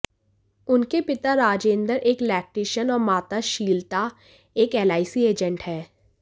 उनके पिता राजेंद्रन एक इलेक्ट्रीशियन और माता श्रीलता एक एलआईसी एजेंट हैं